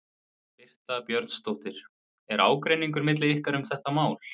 Birta Björnsdóttir: Er ágreiningur milli ykkar um þetta mál?